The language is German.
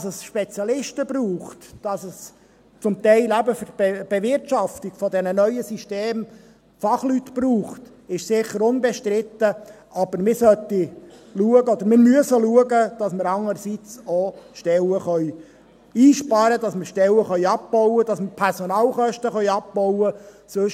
Dass es Spezialisten braucht, dass es zum Teil für die Bewirtschaftung dieser Systeme Fachleute braucht, ist sicher unbestritten, aber wir müssen schauen, dass wir andererseits auch Stellen einsparen und abbauen, und dass wir die Personalkosten abbauen können.